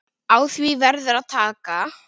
Á því verður að taka.